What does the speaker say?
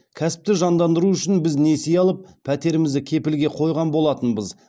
кәсіпті жандандыру үшін біз несие алып пәтерімізді кепілге қойған болатынбыз